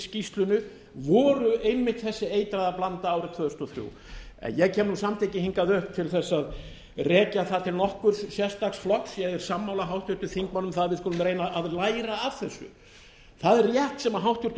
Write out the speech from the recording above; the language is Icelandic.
skýrslunni voru einmitt þessi eitraða blanda árið tvö þúsund og þrjú en ég kem samt ekki hingað upp til að rekja það til nokkurs sérstaks flokks ég er sammála háttvirtum þingmanni um að við skulum reyna að læra af þessu það er rétt sem háttvirtur